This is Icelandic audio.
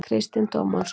Kristinn Tómasson.